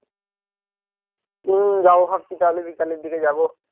হম যাবো ভাবছি তাহলে বিকালের দিকে যাবো